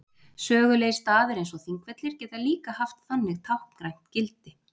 sögulegir staðir eins og þingvellir geta líka haft þannig táknrænt gildi